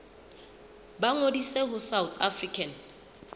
ba ngodise ho south african